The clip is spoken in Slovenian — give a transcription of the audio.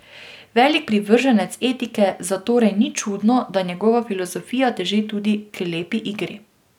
Velik privrženec etike, zatorej ni čudno, da njegova filozofija teži tudi k lepi igri.